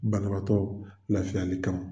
Banabaatɔ lafiyali kama